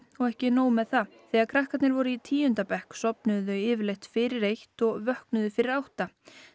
og ekki nóg með það þegar krakkarnir voru í tíunda bekk sofnuðu þau yfirleitt fyrir eitt og vöknuðu fyrir átta